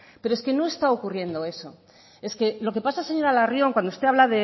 pero es que no está ocurriendo eso es que lo que pasa señora larrión cuando usted habla